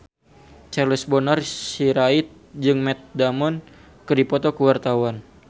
Charles Bonar Sirait jeung Matt Damon keur dipoto ku wartawan